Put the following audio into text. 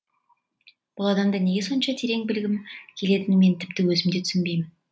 бұл адамды неге сонша терең білгім келгенін мен тіпті өзім де түсінбеймін